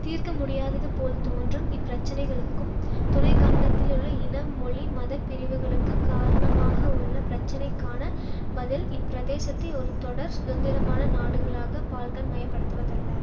தீர்க்கமுடியாதது போல் தோன்றும் இப்பிரச்சனைகளுக்கும் துணைக்கண்டத்திலுள்ள இன மொழி மத பிரிவுகளுக்கு காரணமாக உள்ள பிரச்சனைக்கான பதில் இப்பிரதேசத்தை ஒரு தொடர் சுதந்திரமான நாடுகளாக பால்க்கன் மயப்படுத்துவதல்ல